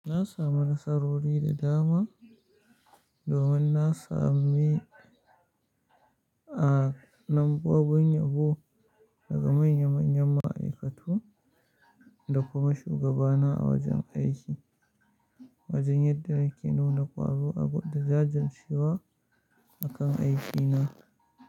Na samu nasarori da dama domin na sami, a, numbobin yabo daga manya-manyan ma'aikatu da kuma shugabana a wajen aiki, wajen yadda nake nuna ƙwaro da jajircewa a kan aikina.